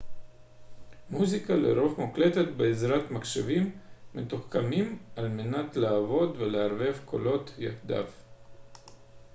מוזיקה לרוב מוקלטת בעזרת מחשבים מתוחכמים על מנת לעבד ולערבב קולות יחדיו